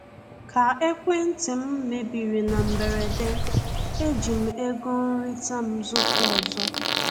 Ka ekwentị m mebiri na mberede, eji m ego nrita m zụta ọzọ.